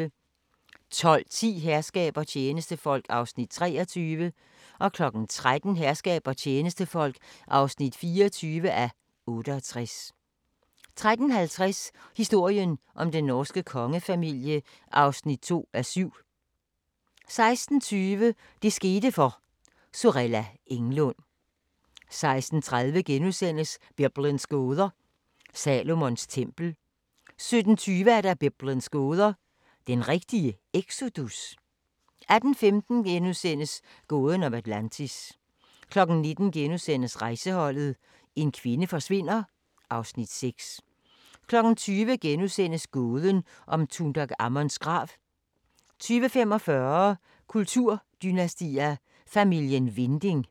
12:10: Herskab og tjenestefolk (23:68) 13:00: Herskab og tjenestefolk (24:68) 13:50: Historien om den norske kongefamilie (2:7) 16:20: Det skete for – Sorella Englund 16:30: Biblens gåder – Salomons tempel * 17:20: Biblens gåder – den rigtige exodus? 18:15: Gåden om Atlantis * 19:00: Rejseholdet: En kvinde forsvinder (Afs. 6)* 20:00: Gåden om Tutankhamons grav * 20:45: Kulturdynastier: Familien Winding